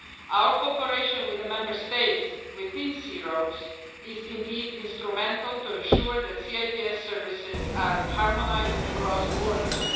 Our cooperation with the Member States within C Roads is indeed instrumental in ensuring that C ITS services are harmonised across borders.